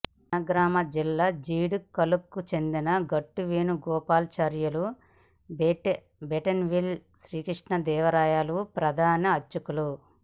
జనగామ జిల్లా జీడికల్కు చెందిన గట్టు వేణుగోపాలా చార్యులు బెంటన్విల్ శ్రీకృష్ణ దేవాలయ ప్రధాన అర్చకులు